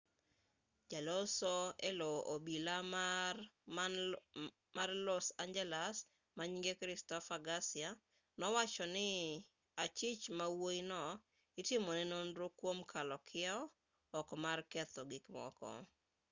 jaloso elo obila man los angeles manyinge christopher garcia nowacho ni achich mawuoyi no itimone nonro kuom kalo kiew ok mar ketho gikmoko